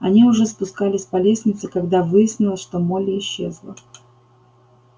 они уже спускались по лестнице когда выяснилось что молли исчезла